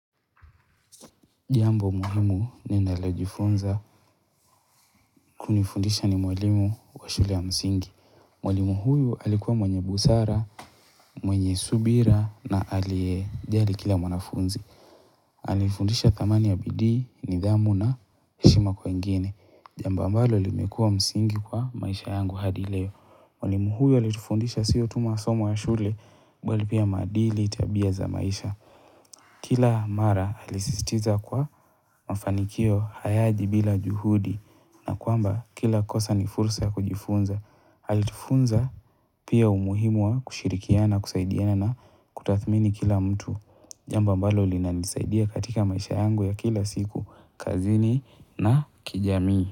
Jambo muhimu ninalojifunza kunifundisha ni mwalimu wa shule ya msingi. Mwalimu huyu alikuwa mwenye busara, mwenye subira na aliyejali kila mwanafunzi. Alinifundisha dhamani ya bidii, nidhamu na heshima kwa wengine. Jambo ambalo limekuwa msingi kwa maisha yangu hadi leo. Mwalimu huyu alitufundisha sio tu masomo ya shule, bali pia maadili, tabia za maisha. Kila mara alisisitiza kuwa mafanikio hayaji bila juhudi na kwamba kila kosa ni fursa ya kujifunza. Alitufunza pia umuhimu wa kushirikiana, kusaidiana na kutathmini kila mtu. Jambo ambalo linanisaidia katika maisha yangu ya kila siku, kazini na kijamii.